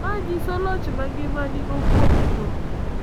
Ma nyiso loch ma ngima nigo kuom tho.